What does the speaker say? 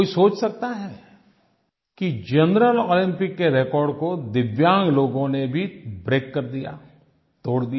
कोई सोच सकता है कि जनरल ओलम्पिक्स के रेकॉर्ड को दिव्यांग लोगों ने भी ब्रेक कर दिया तोड़ दिया